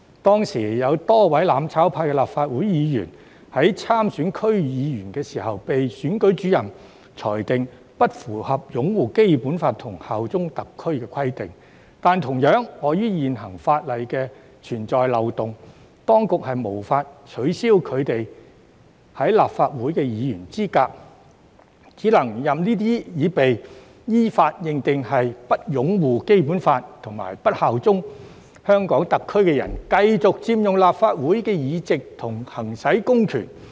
當時有多位"攬炒派"立法會議員在參選區議會時，被選舉主任裁定不符合擁護《基本法》及效忠特區的規定，但同樣地，礙於現行法例存在漏洞，當局無法取消他們的立法會議員資格，只能任由這些已被依法認定為不擁護《基本法》及不效忠香港特區的人，繼續佔用立法會的議席及行使公權力。